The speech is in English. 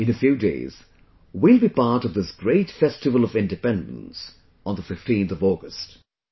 In a few days we will be a part of this great festival of independence on the 15th of August